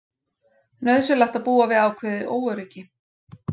Nauðsynlegt að búa við ákveðið óöryggi